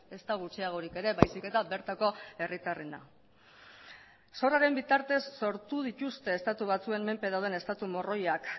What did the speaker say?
ezta gutxiagorik ere baizik eta bertako herritarrena zorraren bitartez sortu dituzte estatu batzuen menpe dauden estatu morroiak